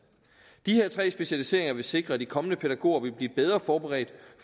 disse tre specialiseringer vil sikre at de kommende pædagoger vil blive bedre forberedt